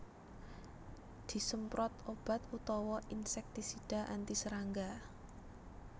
Disemprot obat utawa insèktisida anti serangga